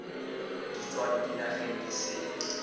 di tswang dinageng di sele